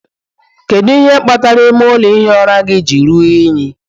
Kedu ihe kpatara ime ụlọ ihi ụra gị ji ruo unyi?